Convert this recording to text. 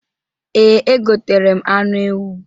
Ee, egotere m anụ ewu.